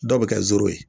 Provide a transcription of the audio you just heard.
Dɔw bɛ kɛ zoro ye